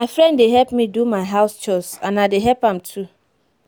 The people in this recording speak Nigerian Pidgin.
my friend dey help me do my house chores and i dey help am too